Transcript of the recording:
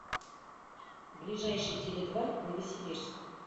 ближайший теледва новосибирск